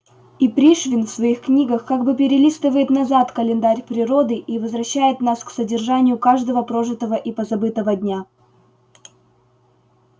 и пришвин в своих книгах как бы перелистывает назад календарь природы и возвращает нас к содержанию каждого прожитого и позабытого дня